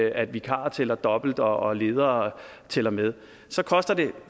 at vikarer tæller dobbelt og og ledere tæller med så koster det